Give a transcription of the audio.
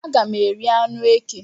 Aga m eri anụ eke